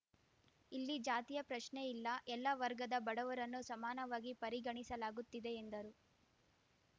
ಇಲ್ಲಿ ಜಾತಿಯ ಪ್ರಶ್ನೆ ಇಲ್ಲ ಎಲ್ಲ ವರ್ಗದ ಬಡವರನ್ನೂ ಸಮಾನವಾಗಿ ಪರಿಗಣಿಸಲಾಗುತ್ತಿದೆ ಎಂದರು